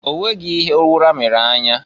Onweghi ihe ụra mere anya.